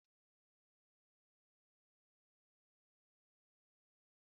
Chinyere hụrụ ụzọ nwanne ya nwoke si esi Afang